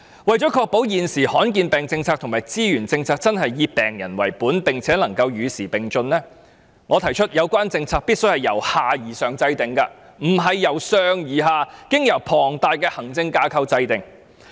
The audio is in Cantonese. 為確保現時罕見疾病的政策及資源分配政策真的以病人為本，並且與時並進，我提出制訂有關政策時必須由下而上，不是由上而下，經由龐大的行政架構制訂。